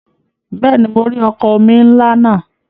Bẹ́ẹ̀ni, mo rí ọkọ̀ omi ńlá náà.